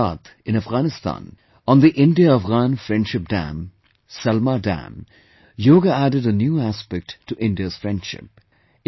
In Herat, in Afghanistan, on the India Afghan Friendship Dam, Salma Dam, Yoga added a new aspect to India's friendship